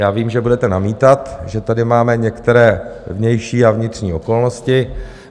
Já vím, že budete namítat, že tady máme některé vnější a vnitřní okolnosti.